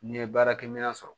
N'i ye baarakɛminɛn sɔrɔ